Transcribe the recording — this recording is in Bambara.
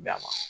Da ma